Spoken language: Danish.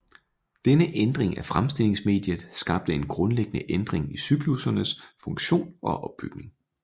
Denne ændring af fremstillingsmediet skabte en grundlæggende ændring i cyklussernes funktion og opbygning